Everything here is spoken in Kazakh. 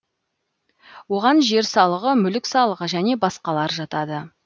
оған жер салығы мүлік салығы және басқалар жатады